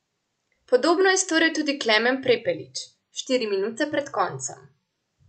Podobno je storil tudi Klemen Prepelič štiri minute pred koncem.